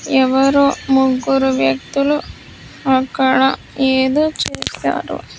ఎవ్వరో ముగ్గురు వ్యక్తులు అక్కడ ఎదో చేసారు.